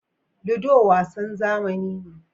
Ludo wasan zamani ne.